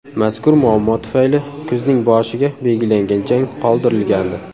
Mazkur muammo tufayli kuzning boshiga belgilangan jang qoldirilgandi.